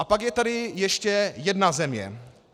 A pak je tady ještě jedna země.